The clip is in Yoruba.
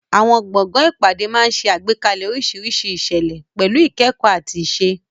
Àwọn gbọ̀ngàn ìpàdé máa ń ṣe àgbékalẹ̀ oríṣiríṣi ìṣẹ̀lẹ̀, pẹ̀lú ìkẹ́kọ̀ọ́ àti ìṣe.